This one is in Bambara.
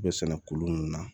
U bɛ sɛnɛ kolu mun na